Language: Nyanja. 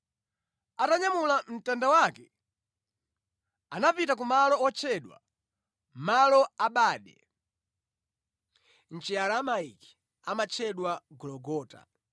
Atanyamula mtanda wake, anapita kumalo otchedwa “Malo a Bade” (mʼChiaramaiki amatchedwa Gologota).